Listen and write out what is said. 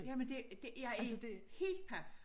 Jamen det det jeg er helt paf